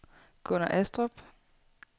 Gunner Astrup